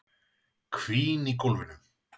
Hvín í gólfinu.